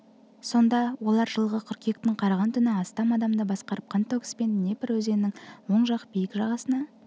сонда олар жылғы қыркүйектің қараған түні астам адамды басқарып қантөгіспен днепр өзенінің оң жақ биік жағасына